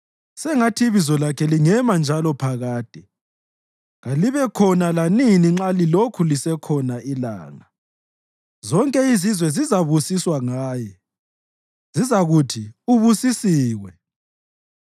Sengathi ibizo lakhe lingema njalo laphakade, kalibe khona lanini nxa lilokhu lisekhona ilanga. Zonke izizwe zizabusiswa ngaye, zizakuthi ubusisiwe.